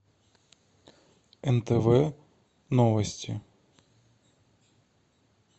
нтв новости